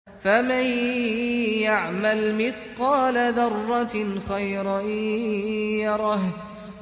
فَمَن يَعْمَلْ مِثْقَالَ ذَرَّةٍ خَيْرًا يَرَهُ